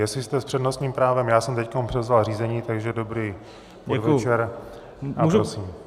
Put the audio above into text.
Jestli jste s přednostním právem, já jsem teď převzal řízení, takže dobrý podvečer a prosím.